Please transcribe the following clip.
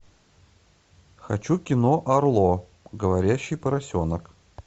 хочу кино арло говорящий поросенок